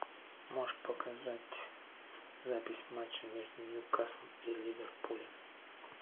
можешь показать запись матча между ньюкаслом и ливерпулем